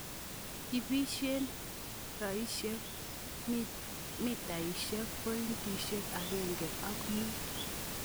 Ibesien roisiek mitaisiek pointit agenge ak mut.